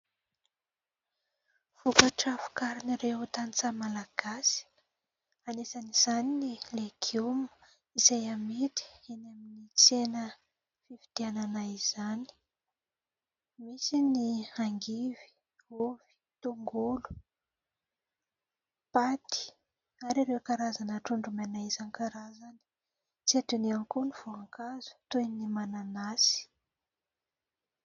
Vokatra vokarin'ireo tanintsaha malagasy anisan'izany ny legioma izay hamidy eny amin'ny tsena fividianana, izany misy ny hangivy, ovy, tongolo, paty ary ireo karazana trondro maina isankarazany tsy adino ihany koa ny voankazo toy ny mananasy.